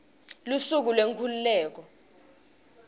lusuku lwenkhululeko